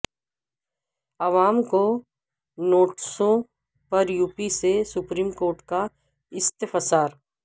عوام کو نوٹسوں پر یوپی سے سپریم کورٹ کا استفسار